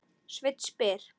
Sveinn spyr